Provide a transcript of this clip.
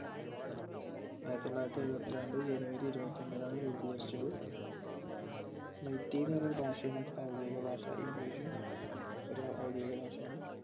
ആയിരത്തിത്തൊള്ളായിരത്തിഎഴുപത്തിരണ്ട് january ഇരുപത്തിഒന്നിനാണ് രൂപീകരിച്ചത് മയ്റ്റി ന്ന് പറഞ്ഞൊരു ഭാഷയാണ് അവിടുത്തെ ഔദ്യോദിഗ ഭാഷ English ഉം ഒരു ഔദ്യോഗിഗ ഭാഷയാണ്